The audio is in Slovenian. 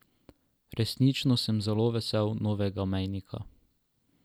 Resnično sem zelo vesel novega mejnika.